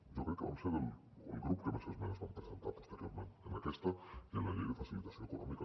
jo crec que vam ser el grup que més esmenes vam presentar posteriorment en aquesta i en la llei de facilitació econòmica